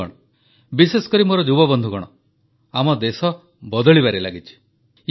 ବନ୍ଧୁଗଣ ବିଶେଷକରି ମୋର ଯୁବବନ୍ଧୁଗଣ ଆମ ଦେଶ ବଦଳିବାରେ ଲାଗିଛି